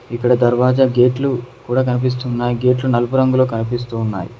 ఇక్కడ దర్వాజ గేట్లు కూడా కనిపిస్తున్నాయి గేట్లు నలుపు రంగులో కనిపిస్తూ ఉన్నాయి.